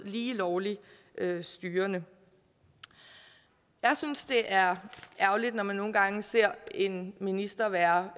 lige lovlig styrende jeg synes det er ærgerligt når man nogle gange ser en minister være